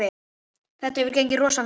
Þetta hefur gengið rosa vel.